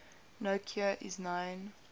no cure is known